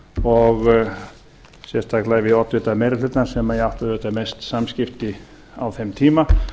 og sérstaklega við oddvita meiri hlutans sem ég átti auðvitað mest samskipti við á þeim tíma